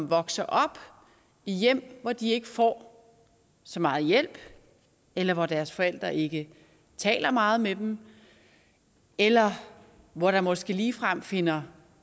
vokser op i hjem hvor de ikke får så meget hjælp eller hvor deres forældre ikke taler meget med dem eller hvor der måske ligefrem finder